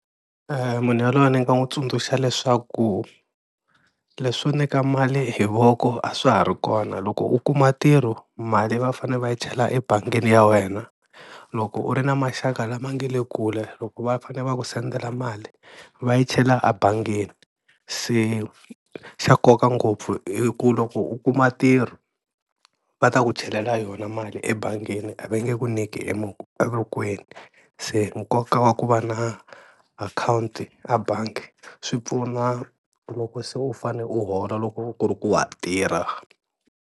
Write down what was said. Munhu yaloye ni nga n'wi tsundzuxa leswaku leswo nyika mali hi voko a swa ha ri kona loko u kuma ntirho mali va fane va yi chela ebangini ya wena, loko u ri na maxaka lama nga le kule loko va fane va ku sendela mali va yi chela ebangini, se xa nkoka ngopfu i ku loko u kuma ntirho va ta ku chelela yona mali ebangini a va nge ku nyiki e evokweni, se nkoka wa ku va na account a bangi swi pfuna loko se u fane u hola loko ku ri ku wa tirha.